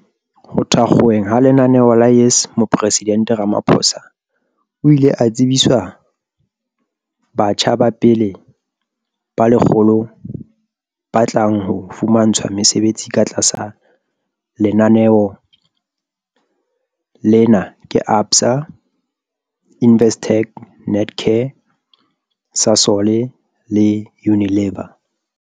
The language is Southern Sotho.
Ho thakgolweng ha lenaneo la YES Moporesidente Ramaphosa o ile a tsebiswa batjha ba pele ba 100 ba tlang ho fumantshwa mesebetsi ka tlasa lenaneo lena ke ABSA, Investec, Netcare, Sasol le Unilever.